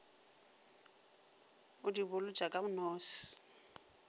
o di bolotša ka nose